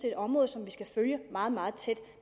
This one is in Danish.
et område som vi skal følge meget meget tæt